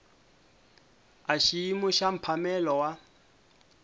a xiyimo xa mphamelo wa